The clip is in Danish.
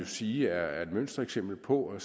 sige er et mønstereksempel på at